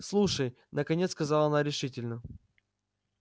слушай наконец сказала она решительно